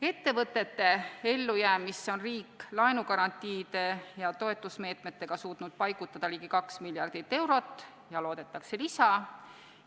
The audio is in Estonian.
Ettevõtete ellujäämisse on riik laenugarantiide ja toetusmeetmetega suutnud paigutada ligi kaks miljardit eurot ja loodetakse lisa.